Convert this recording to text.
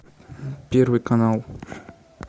первый канал